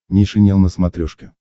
нейшенел на смотрешке